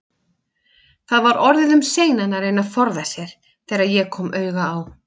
Það var orðið um seinan að reyna að forða sér, þegar ég kom auga á